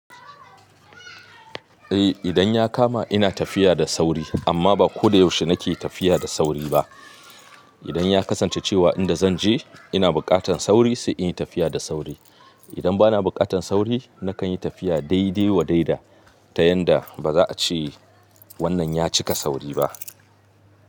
Eh idan ya kama ina tafiya da sauri amma ba ko da yaushe nake tafiya da sauri ba. Idan ya kasance cewa inda zan je ina buƙatan sauri sai in yi tafiya da sauri. Idan ba na buƙatan sauri nakan yi tafiya daidai wa daida ta yanda ba za'a ce wannan ya cika sauri ba.